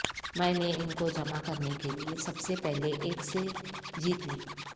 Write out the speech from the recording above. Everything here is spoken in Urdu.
میں نے ان کو جمع کرنے کے لئے سب سے پہلے ایک سے جیت لی